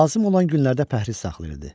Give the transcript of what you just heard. Lazım olan günlərdə pəhriz saxlayırdı.